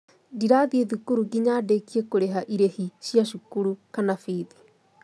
Ndirathiĩ thukuru nginya ndĩkie kũrĩha ĩrĩhi cia cukuru/bithi